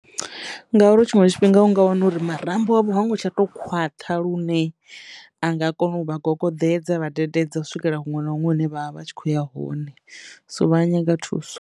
Ngauri tshiṅwe tshifhinga u nga wana uri marambo avho hango tsha to khwaṱha lune anga kono u vha gogoḓedza vhadededza u swikela huṅwe na huṅwe hune vha vha vha tshi khou ya hone so vha a nyaga thuso.